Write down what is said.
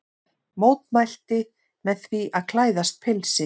Mótmælti með því að klæðast pilsi